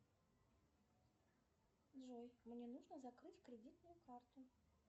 джой мне нужно закрыть кредитную карту